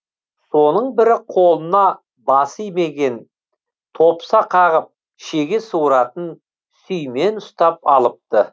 соның бірі қолына басы имейген топса қағып шеге суыратын сүймен ұстап алыпты